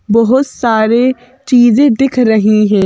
बहुत सारे चीजें दिख रही हैं।